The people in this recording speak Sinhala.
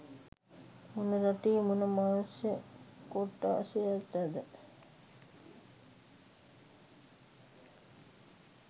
මොන රටේ මොන මනුෂ්‍ය කොට්ටශයටද?